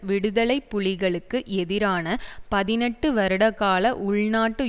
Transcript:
விடுதலை புலிகளுக்கு எதிரான பதினெட்டு வருடகால உள்நாட்டு